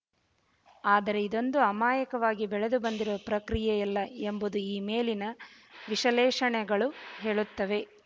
ಆದರೆ ಇದೊಂದು ಅಮಾಯಕವಾಗಿ ಬೆಳೆದುಬಂದಿರುವ ಪ್ರಕ್ರಿಯೆಯಲ್ಲ ಎಂಬುದು ಈ ಮೇಲಿನ ವಿಷಲೇಷಣೆಗಳು ಹೇಳುತ್ತವೆ